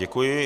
Děkuji.